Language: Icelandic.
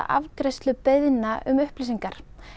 afgreiðslu beiðna um upplýsingar